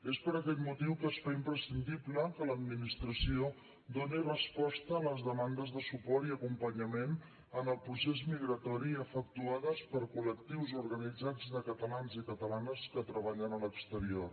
és per aquest motiu que es fa imprescindible que l’administració doni resposta a les demandes de suport i acompanyament en el procés migratori efectuades per col·lectius organitzats de catalans i catalanes que treballen a l’exterior